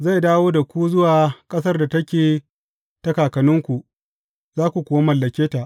Zai dawo da ku zuwa ƙasar da take ta kakanninku, za ku kuwa mallake ta.